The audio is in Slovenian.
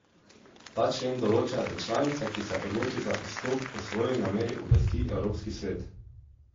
Ta člen določa, da članica, ki se odloči za izstop, o svoji nameri obvesti Evropski svet.